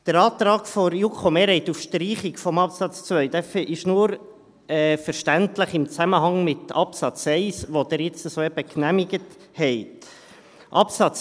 Der Antrag der JuKo-Mehrheit auf Streichung des Absatzes 2 ist nur im Zusammenhang mit dem Absatz 1 verständlich, den Sie soeben genehmigt haben.